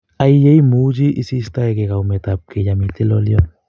Ai yeimuchi iistoekei kaumet ap kei yamitei lolytot